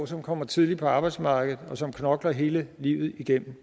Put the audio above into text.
som kommer tidligt på arbejdsmarkedet og som knokler hele livet igennem